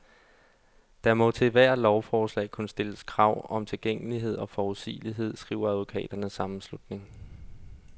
Der må til ethvert lovforslag kunne stilles krav om tilgængelighed og forudsigelighed, skriver advokaternes sammenslutning.